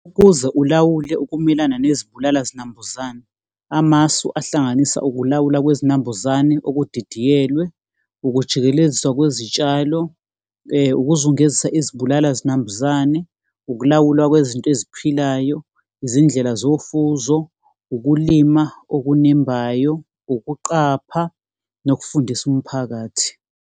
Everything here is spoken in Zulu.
Ukuze ulawule ukumelana nezibulala zinambuzane, amasu ahlanganisa ukulawula kwezinambuzane okudidiyelwe, ukujikeleziswa kwezitshalo, ukuzungezisa izibulala zinambuzane. Ukulawulwa kwezinto eziphilayo, izindlela zofuzo, ukulima okunembayo, ukuqapha, nokufundisa umphakathi.